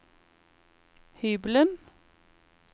hybelen